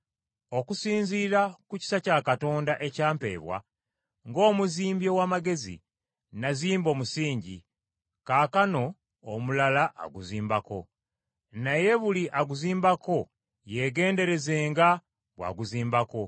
Okusinziira ku kisa kya Katonda ekya mpeebwa, ng’omuzimbi ow’amagezi, nazimba omusingi, kaakano omulala aguzimbako. Naye buli aguzimbako yeegenderezenga bw’aguzimbako.